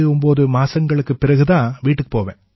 89 மாதங்களுக்குப் பிறகு தான் வீட்டுக்குப் போவேன்